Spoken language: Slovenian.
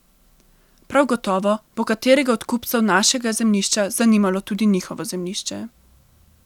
Prav gotovo bo katerega od kupcev našega zemljišča zanimalo tudi njihovo zemljišče.